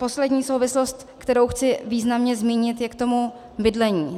Poslední souvislost, kterou chci významně zmínit, je k tomu bydlení.